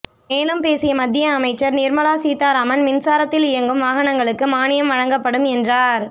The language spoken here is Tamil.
மேலும் பேசிய மத்திய அமைச்சர் நிர்மலா சீதாராமன் மின்சாரத்தில் இயங்கும் வாகனங்களுக்கு மானியம் வழங்கப்படும் என்றார்